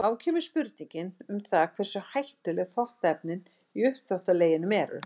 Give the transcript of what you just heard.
Þá kemur spurningin um það hversu hættuleg þvottaefnin í uppþvottaleginum eru.